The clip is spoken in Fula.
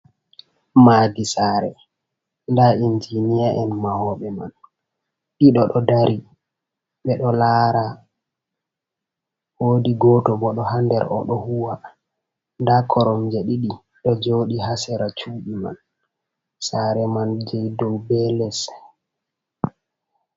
Maadi sare, Ndaa injiniya’en mahoɓe man ɗiɗo ɗo dari ɓe ɗo lara woodi goto bo ɗo ha nder o ɗo huwa, nda koromje ɗiɗi ɗo joɗi hasera cuɗi man, sare man je dou be les.